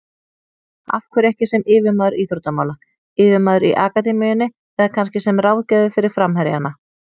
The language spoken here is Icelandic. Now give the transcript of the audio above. Af hverju ekki sem yfirmaður íþróttamála, yfirmaður í akademíunni eða kannski sem ráðgjafi fyrir framherjana?